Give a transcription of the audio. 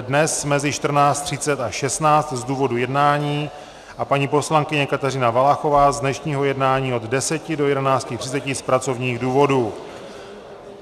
dnes mezi 14.30 až 16.00 z důvodu jednání a paní poslankyně Kateřina Valachová z dnešního jednání od 10.00 do 11.30 z pracovních důvodů.